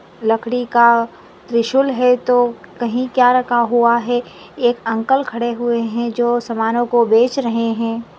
लकड़ी का त्रिशूल है तो कही क्या रखा हुए है एक अंकल खड़े हुए है जो समानो को बेच रहे है।